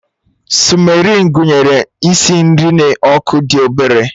Sịmmerin gụnyere isi nri n'ọkụ dị obere